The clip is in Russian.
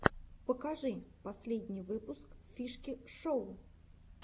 покажи последний выпуск фишки шоу